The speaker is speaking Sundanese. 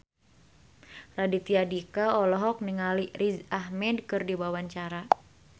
Raditya Dika olohok ningali Riz Ahmed keur diwawancara